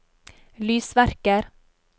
lysverker